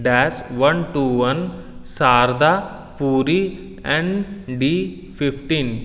Dash one two one Sharda Puri and D fifteen.